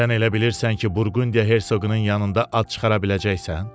Sən elə bilirsən ki, Burqundiya Hersoqunun yanında ad çıxara biləcəksən?